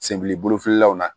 Senbili bolofililaw na